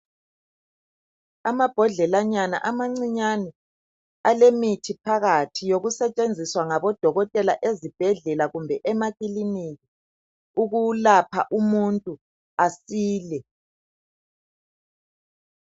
Amabhodlelanyana amancinyane. Alemithi phakathi. Yokusetshenziswa ngabodokotela ezibhedlela, kumbe emakiliniki. Ukulapha umuntu asile.